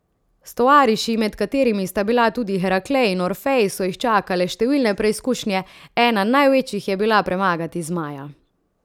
S tovariši, med katerimi sta bila tudi Heraklej in Orfej, so jih čakale številne preizkušnje, ena največjih je bila premagati zmaja.